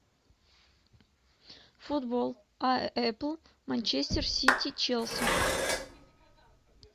футбол апл манчестер сити челси